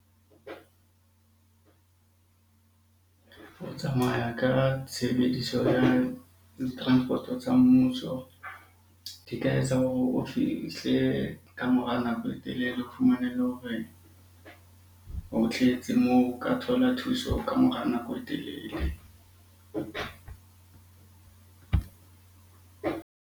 O tsamaya ka tshebediso ya di-transport-o tsa mmuso di tla etsa hore o fihle ka ka mora nako e telele. O fumane le hore ho tletse moo, o ka thola thuso ka mora nako e telele.